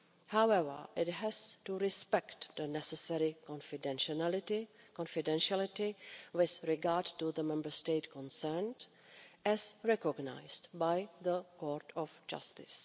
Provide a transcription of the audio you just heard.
However, it has to respect the necessary confidentiality with regard to the Member State concerned, as recognised by the Court of Justice.